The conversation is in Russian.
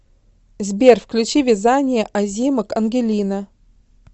сбер включи вязание озимок ангелина